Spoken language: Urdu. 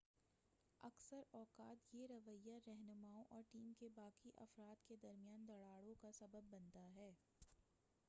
اکثر اوقات یہ رویّہ رہنماؤں اور ٹیم کے باقی افراد کے درمیان دراڑوں کا سبب بنتا ہے